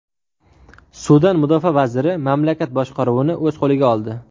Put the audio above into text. Sudan mudofaa vaziri mamlakat boshqaruvini o‘z qo‘liga oldi.